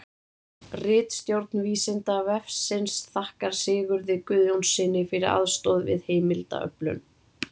Ritstjórn Vísindavefsins þakkar Sigurði Guðjónssyni fyrir aðstoð við heimildaöflun.